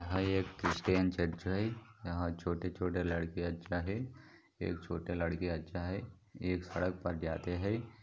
यहाँ एक Christian church है यहाँ छोटे छोटे लड़कियाँ अच्छा है एक छोटे लडकी अच्छा है एक सड़क पर जाते है।